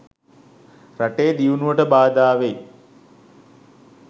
රටේ දියුණුවට බාධාවෙයි.